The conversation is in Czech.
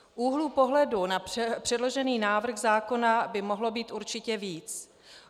Úhlů pohledu na předložený návrh zákona by mohlo být určitě víc.